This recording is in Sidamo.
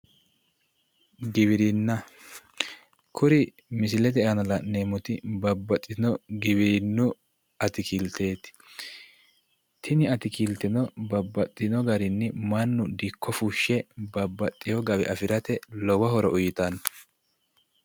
Giwirinna. Kuri misilete aana la'neemmoti babbaxxitino giwirinnu atikilteeti. Tini Atikilteno babbaxxino garinni mannu dikko fushshe babbaxxiwo gawe afirate lowo horo uyitanno.